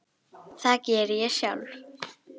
Það geri ég sjálf.